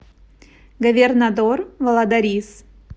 говернадор валадарис